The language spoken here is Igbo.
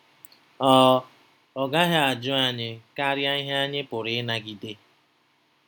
Ọ Ọ gaghị ajụ anyị karịa ihe anyị pụrụ ịnagide.